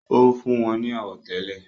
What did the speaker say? ó fún wọn ní àwọ̀tẹ́lẹ̀